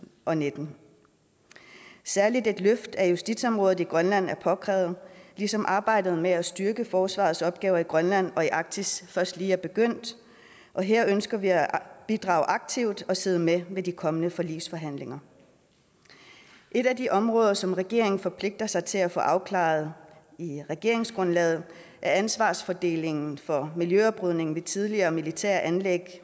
og nitten særlig et løft af justitsområdet i grønland er påkrævet ligesom arbejdet med at styrke forsvarets opgaver i grønland og arktis først lige er begyndt her ønsker vi at bidrage aktivt og sidde med ved de kommende forligsforhandlinger et af de områder som regeringen forpligter sig til at få afklaret i regeringsgrundlaget er ansvarsfordelingen for miljøoprydningen ved tidligere militære anlæg